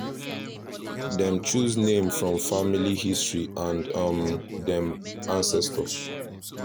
dem choose name from family history and um dem ancestors